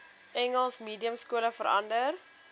engels mediumskole verander